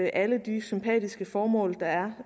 alle de sympatiske formål der er